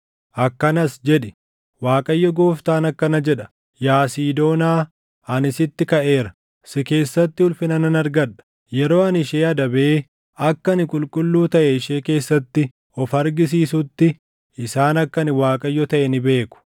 akkanas jedhi: ‘ Waaqayyo Gooftaan akkana jedha: “ ‘Yaa Siidoonaa, ani sitti kaʼeera; si keessatti ulfina nan argadha. Yeroo ani ishee adabee akka ani qulqulluu taʼe ishee keessatti of argisiisuutti, isaan akka ani Waaqayyo taʼe ni beeku.